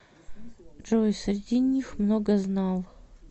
джой среди них многознал